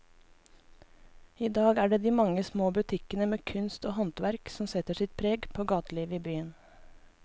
I dag er det de mange små butikkene med kunst og håndverk som setter sitt preg på gatelivet i byen.